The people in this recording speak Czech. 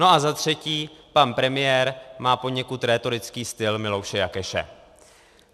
No a za třetí, pan premiér má poněkud rétorický styl Milouše Jakeše.